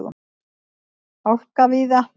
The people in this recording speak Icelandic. Hálka víða